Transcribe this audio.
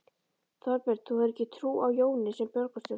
Þorbjörn: Þú hefur ekki trú á Jóni sem borgarstjóra?